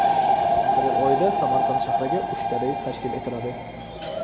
Aprel oyida Samarqand shahriga uchta reys tashkil etiladi.